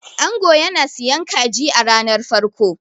ango yana siyan kaji a ranar farko